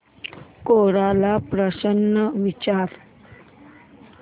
कोरा ला प्रश्न विचार